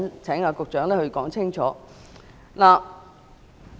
請局長稍後說清楚。